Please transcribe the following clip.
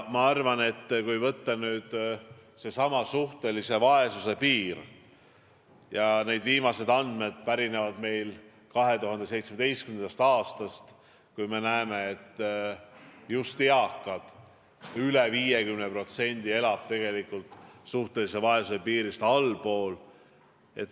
Ma arvan, et kui võtta nüüd seesama suhtelise vaesuse piir – ja need viimased andmed pärinevad meil 2017. aastast –, me näeme, et just eakatest üle 50% elab tegelikult suhtelise vaesuse piirist allpool.